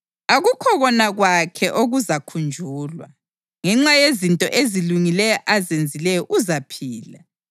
Akukho kona kwakhe okuzakhunjulwa. Ngenxa yezinto ezilungileyo azenzileyo uzaphila.